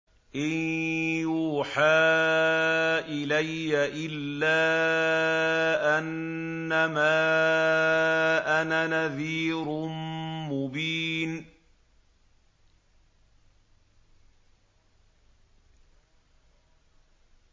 إِن يُوحَىٰ إِلَيَّ إِلَّا أَنَّمَا أَنَا نَذِيرٌ مُّبِينٌ